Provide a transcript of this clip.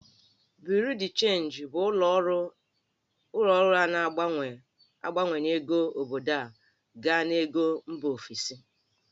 Bureau de change' bụ ụlọ ọrụ a na-agbanwe ego obodo gaa n'ego mba ofesi